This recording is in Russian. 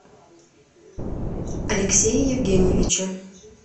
алексее евгеньевиче